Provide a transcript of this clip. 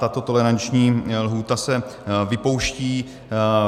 Tato toleranční lhůta se vypouští.